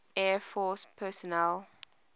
air force personnel